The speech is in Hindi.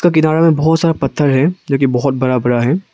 किनारे में बहुत सारा पत्थर है जो कि बहुत बड़ा बड़ा है।